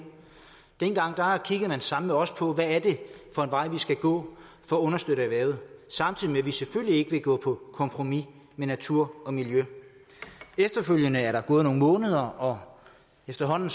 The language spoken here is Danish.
dengang kiggede man sammen med os på hvad det er for en vej vi skal gå for at understøtte erhvervet samtidig med at vi selvfølgelig ikke vil gå på kompromis med natur og miljø efterfølgende er der gået nogle måneder og efterhånden